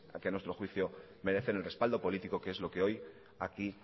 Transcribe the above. que a nuestro juicio merecen el respaldo político que es lo que hoy aquí